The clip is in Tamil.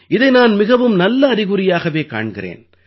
இதை நான் மிகவும் நல்ல அறிகுறியாகவே காண்கிறேன்